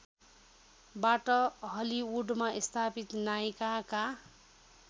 बाट हलिउडमा स्थापित नायिकाका